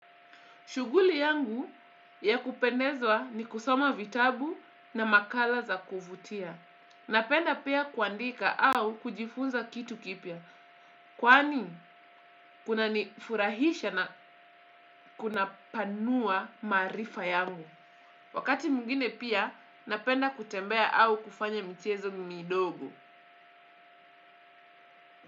Shughuli yangu ya kupendezwa ni kusoma vitabu na makala za kuvutia. Napenda pia kuandika au kujifunza kitu kipya. Kwani kuna nifurahisha na kunapanua maarifa yangu. Wakati mwingine pia, napenda kutembea au kufanya michezo midogo.